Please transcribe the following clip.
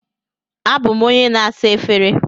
Abụ m onye na-asa efere.